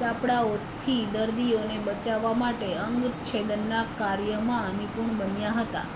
ચાપડાઓથી દર્દીઓને બચાવવા માટે અંગ છેદનનાં કાર્યમાં નિપુણ બન્યા હતા